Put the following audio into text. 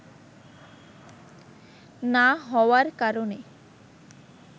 না হওয়ার কারণে